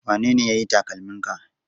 Wanene ya yi takalminka?